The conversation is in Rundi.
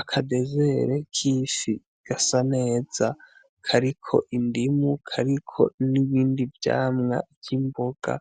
Akabezere k'ifi gasa neza kariko indimu kariko nibindi vyamwa vy'imboga